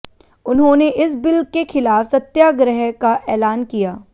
उन्होंने इस बिल के खिलाफ सत्याग्रह का ऐलान किया